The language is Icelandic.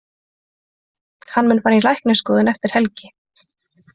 Hann mun því fara í læknisskoðun eftir helgi.